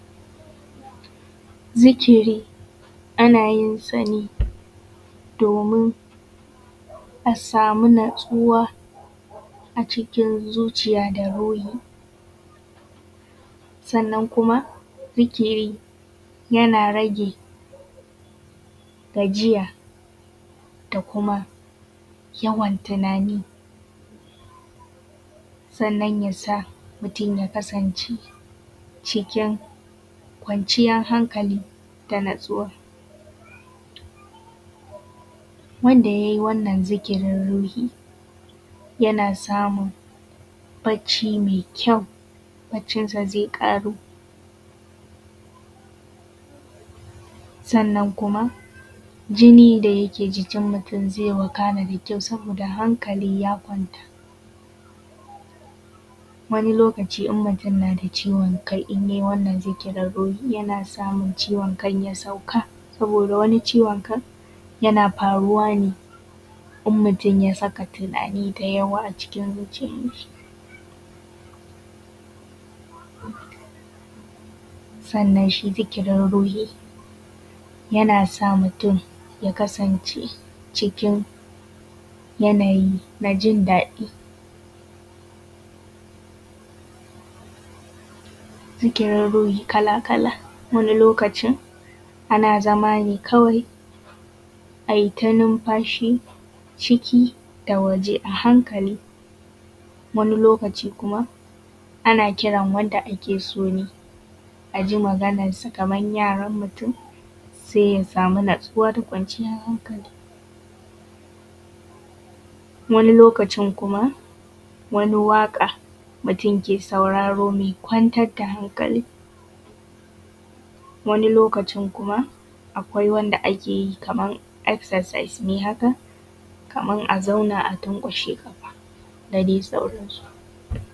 Zikiri ana yin sa ne domin a samu natsuwa a cikin zuciya da ruhi. Sannan kuma zikiri yana rage gajiya da kuma yawan tunani, sannan ya sa mutum ya kasance cikin kwanciyar hankali da natsuwa. Wanda yai wannan zikirin ruhi, yana samun bacci mai kyau, baccinsa zai ƙaru, sannan kuma jini da yake jikin mutum zai wakana da kyau, sabida hankali ya kwanta. Wani lokaci in mutum na da ciwon kai in yai wannan zikirin ruhi, yana samun ciwon kan ya sauka saboda wani ciwon kan yana faruwa ne in mutum ya saka tunani da yawa a cikin zuciyan shi. Sannan shi zikirin ruhi yana sa mutum ya kasance cikin yanayi na jindaɗi. Zikirin ruhi kala kala wani lokaci ana zama ne kawai aita numfashi ciki da waje a hankali, wani lokaci kuma ana kiran wanda ake so ne a ji maganarsa kaman yaran mutum, sai ya samu natsuwa da kwanciyar hankali. Wani lokaci kuma wani waƙa mutum ke sauraro mai kwantar da hankali. Wani lokaci kuma akwai wanda ake kaman exercise ne haka, kaman a zauna a tanƙwashe ƙafa da dai sauran su.